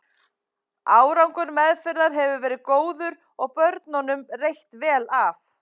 Árangur meðferðar hefur verið góður og börnunum reitt vel af.